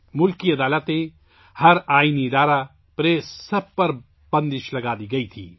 ملک کی عدالتیں، ہر آئینی ادارہ، پریس، سب کنٹرول میں تھے